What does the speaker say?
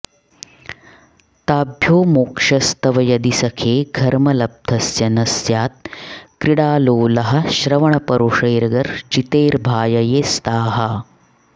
ताभ्यो मोक्षस्तव यदि सखे घर्मलब्धस्य न स्यात् क्रीडालोलाः श्रवणपरुषैर्गर्जितैर्भाययेस्ताः